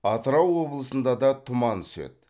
атырау облысында да тұман түседі